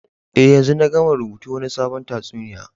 Eh, yanzun na gama rubutun Wani sabon tatsuniya.